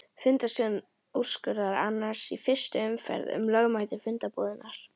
Fundarstjóri úrskurðar annars í fyrstu umferð um lögmæti fundarboðunar.